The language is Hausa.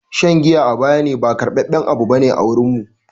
Shan giya a bayane ba karbaben abu bane a wurin mu.